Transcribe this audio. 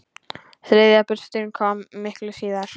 Þriðja burstin kom miklu síðar.